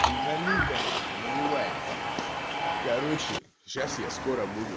не налито нахуй наливай короче сейчас я скоро буду